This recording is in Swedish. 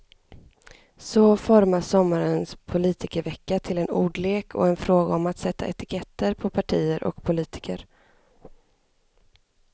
Så formas sommarens politikervecka till en ordlek och en fråga om att sätta etiketter på partier och politiker.